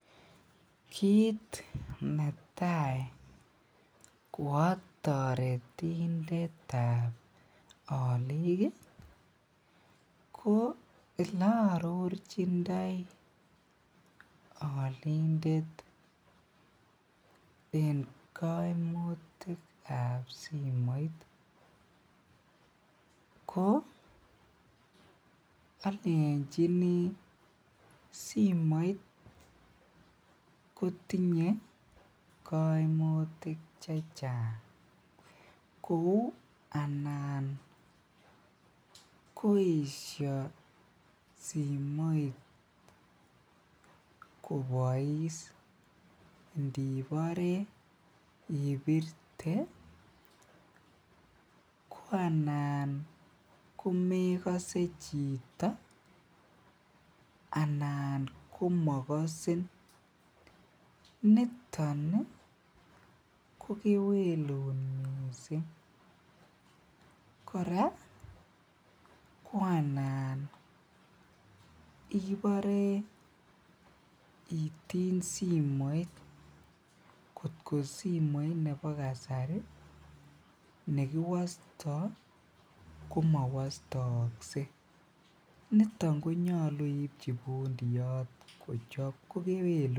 Kit Natai koa taretindet tab alik ih ko olearorchindoi alindet en kaimutik ab simoit ko alenchini simoit kotinye kaimutik chechang kouu anan koesia kobais indibore ibirte ko anan komekase chito anan komakasin niton ih ko kewelut missing. Kora anan ibore itiny simoit nekiwasta ko komawastaakse, niton konyalu iibchi bundoyot ko kewelut neo missing.